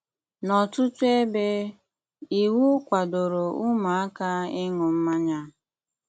N'ọtụtụ ebe, iwu kwadoro ụmụaka ịṅụ mmanya.